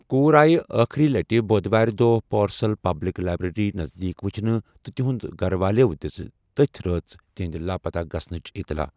کوٗر آیہِ آخری لٹہِ بوٚدوارِ دۄہہ پورسل پبلک لائبریری نزدیٖک وچھنہٕ تہٕ تہنٛد گھر والٮ۪و دِژ تتھۍ رٲژ تہنٛدِ لاپتہ گژھنٕچ اطلاع۔